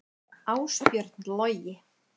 Ásbjörn Logi.